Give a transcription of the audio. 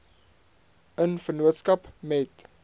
in vennootskap met